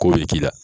Ko bɛ k'i la